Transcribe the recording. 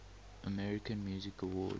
american music awards